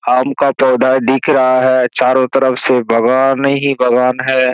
आम का पौधा दिख रहा है चारो तरफ से बगान ही बगान है।